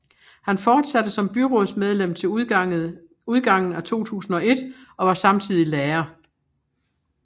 Han fortsatte som byrådsmedlem til udgangen af 2001 og var samtidig lærer